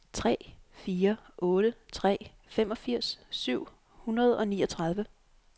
tre fire otte tre femogfirs syv hundrede og niogtredive